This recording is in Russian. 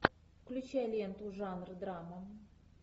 включай ленту жанр драма